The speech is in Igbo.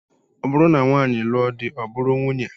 Ọ bụrụ na nwaanyị lụọ di, ọ bụrụ nwunye